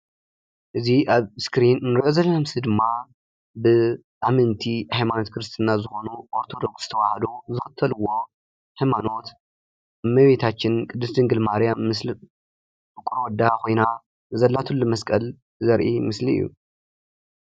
እዚ ኣብ ስክሪን ንሪኦ ዘለና ምስሊ ድማ ብኣመንቲ ሃይማኖት ክርስትና ዝኾኑ ኦርቶዶክስ ተዋህዶ ዝኽተልዎ ሃይማኖት እመቤታችን ቅድስት ድንግል ማርያም ምስለ ፍቁር ወልዳ ኮይና ዘላትሉ መስቀል ዘርኢ ምስሊ እዩ፡፡